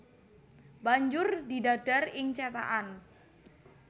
Banjur didadar ing cethakan